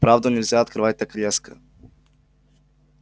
правду нельзя открывать так резко